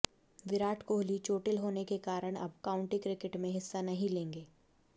विराट कोहली चोटिल होने के कारण अब काउंटी क्रिकेट में हिस्सा नहीं लेंगे